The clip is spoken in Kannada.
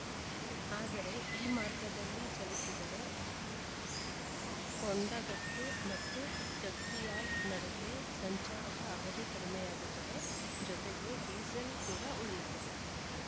ಆದರೆ ಈ ಮಾರ್ಗದಲ್ಲಿ ಚಲಿಸಿದರೆ ಕೊಂಡಗಟ್ಟು ಮತ್ತು ಜಗ್ತಿಯಾಲ್‌ ನಡುವೆ ಸಂಚಾರದ ಅವಧಿ ಕಡಿಮೆಯಾಗುತ್ತದೆ ಜೊತೆಗೆ ಡೀಸೆಲ್‌ ಕೂಡಾ ಉಳಿಯುತ್ತದೆ